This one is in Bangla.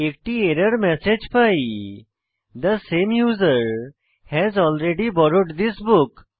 একটি এরর ম্যাসেজ পাই যে the same user has already borrowed this book